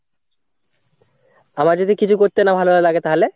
আমার যদি কিছু করতে না ভালো লাগে তাহলে?